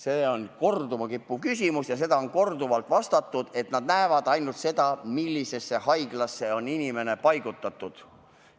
See on korduma kippuv küsimus ja sellele on korduvalt vastatud, et nad näevad ainult seda, millisesse haiglasse on inimene paigutatud.